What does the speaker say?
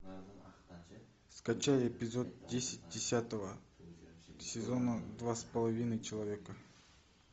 скачай эпизод десять десятого сезона два с половиной человека